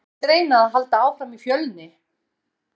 En kemur til greina að halda áfram í Fjölni?